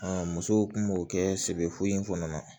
musow kun b'o kɛ sɛbɛ foyi in kɔnɔna na